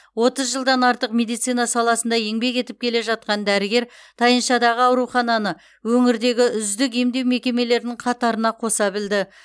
отыз жылдан артық медицина саласында еңбек етіп келе жатқан дәрігер тайыншадағы аурухананы өңірдегі үздік емдеу мекемелерінің қатарына қоса білді